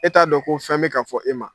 E t'a dɔn ko fɛn be ka fɔ e ma.